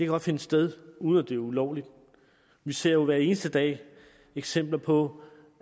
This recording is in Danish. godt finde sted uden at det er ulovligt vi ser jo hver eneste dag eksempler på